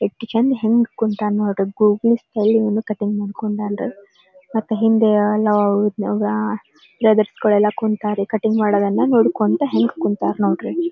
ಎಷ್ಟ್ ಚಂದ್ ಹೆಂಗ್ ಕುಂತಾನೆ ನೋಡ್ರಿ ಗೂಗ್ಲಿ ಸ್ಟೈಲ್ ಅಲ್ಲಿ ಕಟಿಂಗ್ ಮಾಡ್ಕೊಂಡಾನ್ ರೀ ಮತೆ ಹಿಂದೆ ಕುಂತರಿ ಕಟಿಂಗ್ ಮಾಡೋದನ್ನ ನೋಡೋಕೊಂತ ಹೆಂಗ ಕುಂತರ ನೋಡ್ರಿ.